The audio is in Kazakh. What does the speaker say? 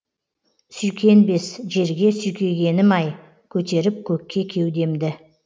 сүйкенбес жерге сүйкегенім ай көтеріп көкке кеудемді